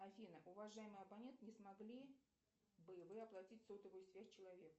афина уважаемый абонент не смогли бы вы оплатить сотовую связь человеку